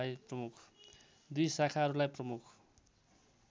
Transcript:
दुई शाखाहरूलाई प्रमुख